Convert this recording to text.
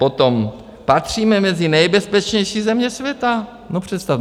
Potom - patříme mezi nejbezpečnější země světa, no, představte...